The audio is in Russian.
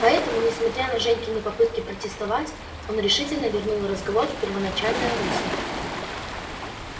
поэтому несмотря на женькины попытки протестовать он решительно вернул разговор в первоначальное русло